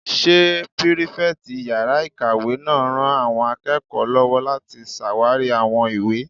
Ṣé pírífẹ̀tì yàrá-ìkàwé náà ran àwọn akẹ́kọ̀ọ́ lọ́wọ́ láti ṣàwarí àwọn ìwé?